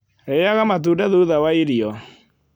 Rĩaga matũnda thutha wa irio